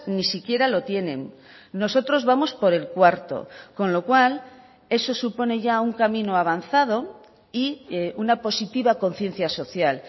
ni siquiera lo tienen nosotros vamos por el cuarto con lo cual eso supone ya un camino avanzado y una positiva conciencia social